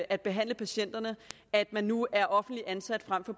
at behandle patienterne at man nu er offentligt ansat frem for